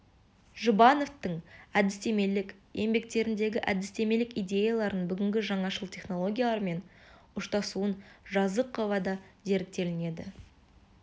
жұбановтың әдістемелік еңбектеріндегі әдістемелік идеяларының бүгінгі жаңашыл технологиялармен ұштасуын жазықова да зерттеулерінде